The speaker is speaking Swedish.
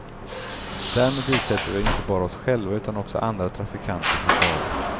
Därmed utsätter vi inte bara oss själva utan också andra trafikanter för fara.